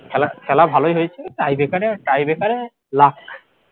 খেলা খেলা ভালোই হয়েছে tie breaker এ tie breaker এ luck